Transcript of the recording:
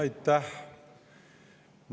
Aitäh!